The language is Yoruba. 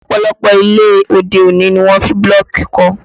Ọ̀pọ̀lọpọ̀ ilé òde-òní ni wọ́n fi bílọ̀kì kọ́